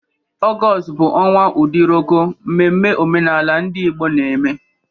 Ọgọọst bụ ọnwa Udiroko, mmemme omenala ndị Igbo na-eme.